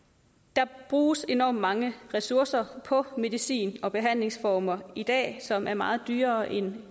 der bruges enormt mange ressourcer på medicin og behandlingsformer i dag som er meget dyrere end